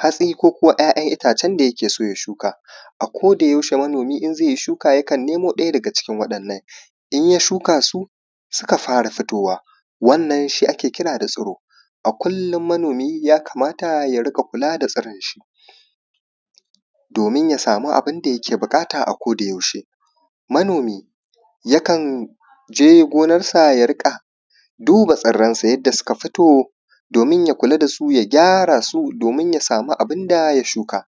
hatsi ko kuwa 'ya'yan itaacen da yake so ya shuka akodayaushe manomi in zai yi shuka yakan nemo ɗaya daga cikin waɗannan, in ya shukasu suka fara fitowa, wannan shi ake kira da tsiro a kullum manomi ya kamata ya dinga kula da tsironshi doomin ya samu abin da yake buƙata akodayaushe, manomi yakan je gonarsa ya riƙa duba tsirransa yadda suka fito doomin ya kula da su ya gyara su doomin ya samu abin da ya shuka.